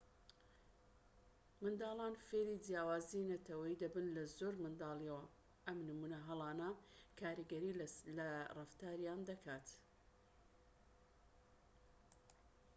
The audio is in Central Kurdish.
منداڵان فێری جیاوازیی نەتەوەیی دەبن لە زۆر منداڵیەوە و ئەم نمونە هەڵانە کاریگەری لە ڕەفتاریان دەکات